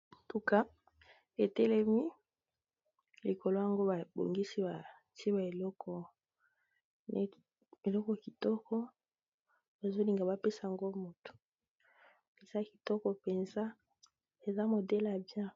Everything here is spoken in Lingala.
Mutuka etelemi likolo nango babongisi ba tié eloko, eloko kitoko bazolinga ba pesango moto eza kitoko mpenza eza modele ya bien.